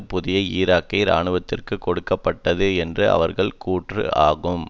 புதிய ஈராக்கிய இராணுவத்திற்கு கொடுக்க பட்டது என்பது அவர்கள் கூற்று ஆகும்